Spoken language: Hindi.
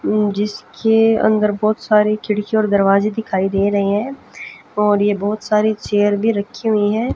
अम जिसके अंदर बहोत सारी खिड़की और दरवाजें दिखाई दे रहें हैं और यह बहोत सारी चेयर भीं रखीं हुई हैं।